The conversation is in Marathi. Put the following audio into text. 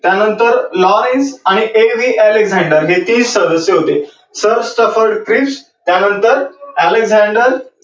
त्या नंतर Lawrence आणि A. V Alexander हे तीन सदस्य होते. Sir Stafford Cripps त्या नंतर Alexander